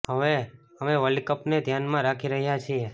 હવે અમે વર્લ્ડ કપને ધ્યાનમાં રાખી રહ્યા છીએ